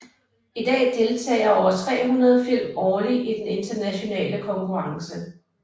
I dag deltager over 300 film årlig i den internationale konkurrence